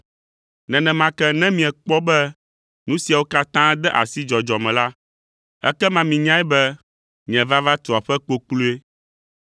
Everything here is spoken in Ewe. Nenema ke ne miekpɔ be nu siawo katã de asi dzɔdzɔ me la, ekema minyae be nye vava tu aƒe kpokploe.